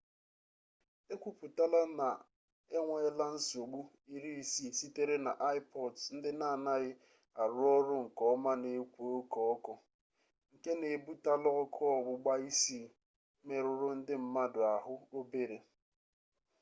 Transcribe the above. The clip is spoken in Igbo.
e kwuputala na na e nweela nsogbu 60 sitere na ipods ndị n'anaghị arụ ọrụ nke ọma na-ekwo oke ọkụ nke na-ebutala ọkụ ọgbụgba isii merụrụ ndị mmadụ ahụ obere